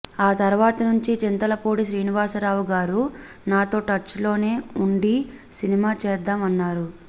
ఆతర్వాత నుంచి చింతలపూడి శ్రీనివాసరావు గారు నాతో టచ్ లోనే ఉండి సినిమా చేద్దాం అన్నారు